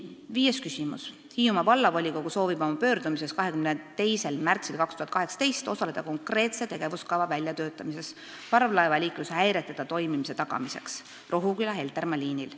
Viies küsimus: "Hiiumaa vallavolikogu soovib oma pöördumises 22.03.2018 osaleda konkreetse tegevuskava väljatöötamises parvlaevaliikluse häireteta toimimise tagamiseks Rohuküla–Heltermaa liinil.